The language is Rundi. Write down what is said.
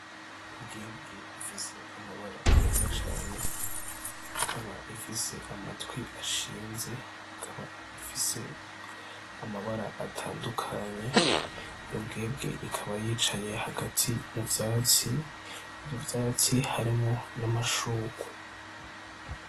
Imbwebwe ifise amabara meza cane, ikaba ifise amatwi ashinze, ikaba ifise amabara atandukanye. Iyo mbwebwe ikaba yicaye hagati mu vyatsi, ivyo vyatsi harimwo n'amashugwe.